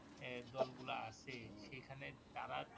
এ দলগুলো আছেই সেখানে তারা